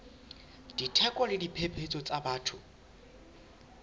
ditlhoko le diphephetso tsa batho